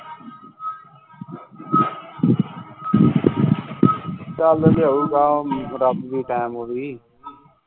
ਚੱਲ ਲਿਆਉਗੇ ਰੱਬ ਵੀ ਟੈਮ ਓਹੀ